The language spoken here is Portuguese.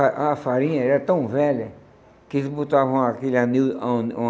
A a farinha era tão velha que eles botavam aquele anil um um